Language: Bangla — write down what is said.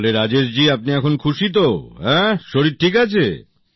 তাহলে রাজেশ জি আপনি এখন খুশী তো শরীর ঠিক আছে